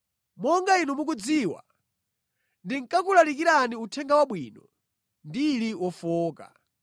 Monga inu mukudziwa ndinkakulalikirani Uthenga Wabwino ndili wofowoka.